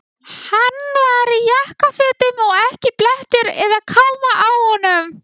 Svo var ræs.